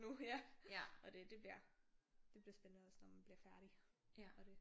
Nu ja og det det bliver det bliver spændende også når man bliver færdig og det